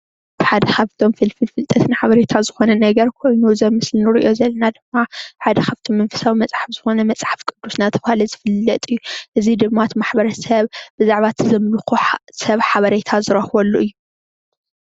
ሓደ ካብቶም ፍልፍል ፍልጠት ሓበሬታ ማሕበረሰብ ዝኮነ ነገር ኣብዚ ምስሊ እንሪኦ ዘለና ድማ ሓደ ካብቶም መንፈሳዊ መፅሓፍ ዝኮነ መፅሓፍ ቅዱስ እናተባሃለ እዩ፣ እዙይ ድማ እቲ ማሕበረሰብ ብዛዕባ እቲ ዘምልኮ ሓበሬታ ዝረክበሉ እዩ፡፡